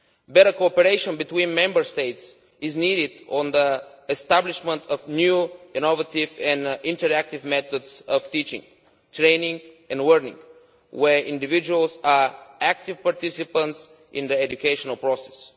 Better cooperation between Member States is needed on the establishment of new, innovative and interactive methods of teaching, training and learning, where individuals are active participants in the educational process.